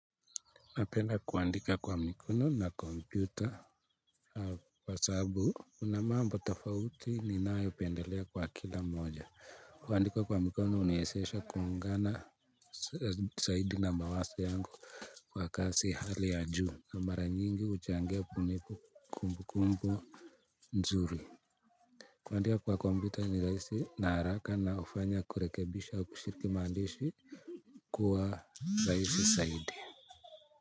Napenda kuandika kwa mikono na kompyuta. Kwa sababu una mambo tafauti ninayo pendelea kwa kila mmoja. Kuandika kwa mikono huniwezesha kuungana zaidi na mawazo yangu. Kwa kasi hali ya juu na mara nyingi huchangia kunipu kumbukumbu nzuri. Kuandika kwa kompyuta ni rahisi na haraka na hufanya kurekebisha kushiriki maandishi kuwa rahisi zaidi.